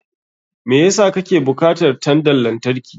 Me yasa kake bukatar tandan lantarki?